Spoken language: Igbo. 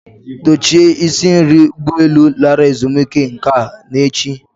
Dochie isi nri ụgbọ elu lara ezumike nka n'echi.